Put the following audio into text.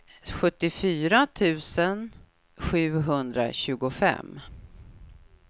sjuttiofyra tusen sjuhundratjugofem